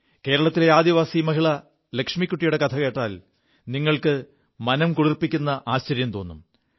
കേരളത്തിലെ ആദിവാസി മഹിള ലക്ഷ്മിക്കുിയുടെ കഥ കോൽ നിങ്ങൾക്ക് മനം കുളിർപ്പിക്കു ആശ്ചര്യം തോും